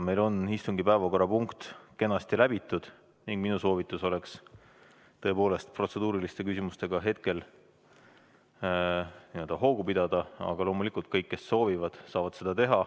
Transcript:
Meil on istungi päevakorrapunkt kenasti läbitud ning minu soovitus oleks tõepoolest protseduuriliste küsimustega hetkel hoogu pidada, aga loomulikult kõik, kes soovivad, saavad seda teha.